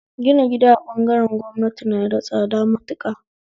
Gina gida a bangaren gwamnati na da tsada matuƙa